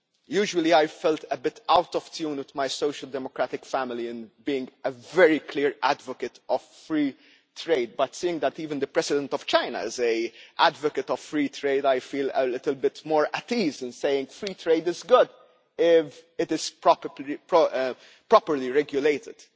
Usually, I have felt a bit out of tune with my social democratic family in being a very clear advocate of free trade, but seeing that even the President of China is an advocate of free trade, I feel a little bit more at ease in saying that free trade is good if it is properly regulated.